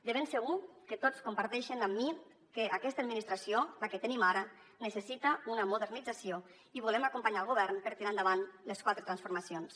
de ben segur que tots comparteixen amb mi que aquesta administració la que tenim ara necessita una modernització i volem acompanyar el govern per tirar endavant les quatre transformacions